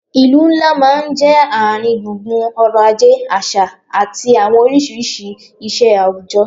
Ìlú ńlá máa ń jẹ́ ààrin gbùngbùn ọ̀rọ̀ ajé, àṣà àti àwọn àti àwọn oríṣiríṣi ìṣe àwùjọ